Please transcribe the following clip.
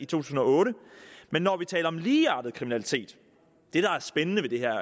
tusind og otte men når vi taler om ligeartet kriminalitet